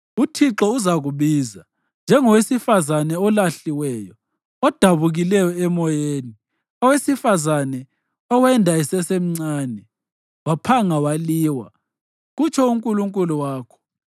UThixo uzakubiza njengowesifazane olahliweyo, odabukileyo emoyeni, owesifazane owenda esesemncane, waphanga waliwa,” kutsho uNkulunkulu wakho.